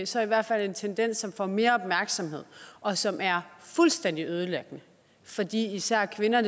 så i hvert fald en tendens som får mere opmærksomhed og som er fuldstændig ødelæggende for de især kvinder